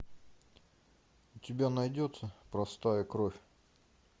у тебя найдется простая кровь